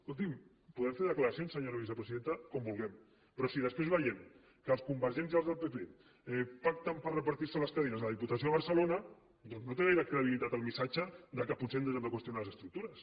escoltin podem fer declaracions senyora vicepresidenta com vulguem però si després veiem que els convergents i els del pp pacten per repartir se les cadires a la diputació de barcelona doncs no té gaire credibilitat el missatge que potser ens hem de qüestionar les estructures